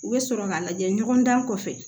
U bɛ sɔrɔ ka lajɛ ɲɔgɔn dan kɔfɛ